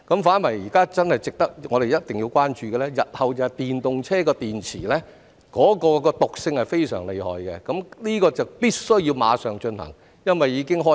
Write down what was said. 反而現在我們真的一定要關注的是，日後電動車的電池毒性是非常厲害的，有關工作必須馬上進行，因為此事已經開始了。